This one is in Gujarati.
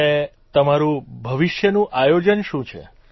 અને તમારૂં ભવિષ્યનું આયોજન શું છે